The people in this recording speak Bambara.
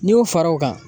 N'i y'u fara o kan